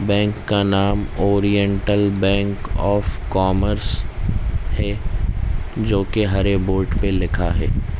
Bank का नाम oriental bank of commerce है जोकि हरे बोर्ड पे लिखा है।